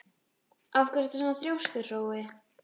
Af hverju ertu svona þrjóskur, Hrói?